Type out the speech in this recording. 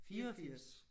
84